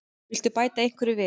Viltu bæta einhverju við?